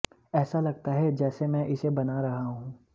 ऐसा लगता है जैसे मैं इसे बना रहा हूं